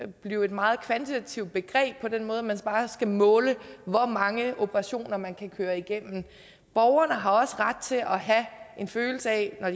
blive et meget kvantitativt begreb på den måde at man bare skal måle hvor mange operationer man kan køre igennem borgerne har også ret til at have en følelse af at